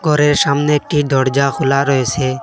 ঘরের সামনে একটি দরজা খোলা রয়েসে।